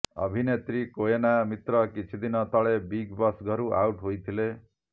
ଅଭିନେତ୍ରୀ କୋଏନା ମିତ୍ର କିଛି ଦିନ ତଳେ ବିଗ୍ ବସ୍ ଘରୁ ଆଉଟ୍ ହୋଇଥିଲେ